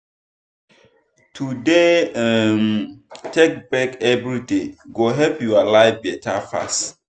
to dey um take break everyday go help your life better pass.